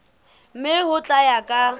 mme ho tla ya ka